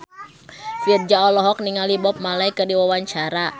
Virzha olohok ningali Bob Marley keur diwawancara